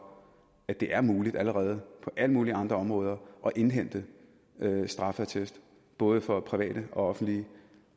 at det er muligt allerede på alle mulige andre områder at indhente straffeattester både for private og offentlige